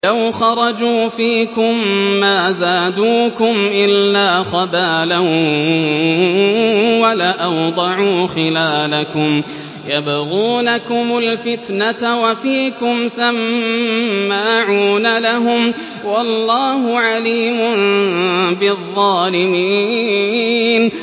لَوْ خَرَجُوا فِيكُم مَّا زَادُوكُمْ إِلَّا خَبَالًا وَلَأَوْضَعُوا خِلَالَكُمْ يَبْغُونَكُمُ الْفِتْنَةَ وَفِيكُمْ سَمَّاعُونَ لَهُمْ ۗ وَاللَّهُ عَلِيمٌ بِالظَّالِمِينَ